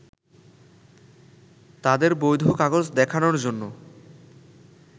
তাদের বৈধ কাগজ দেখানোর জন্য